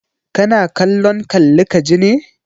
Kana kallon kalli ka ji ne?